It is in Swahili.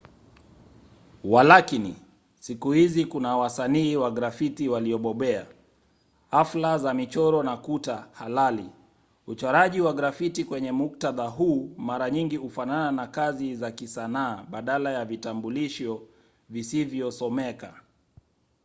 walakini siku hizi kuna wasanii wa grafiti waliobobea hafla za michoro na kuta halali”. uchoraji wa grafiti kwenye muktadha huu mara nyingi hufanana na kazi za kisanaa badala ya vitambulisho visivyosomeka.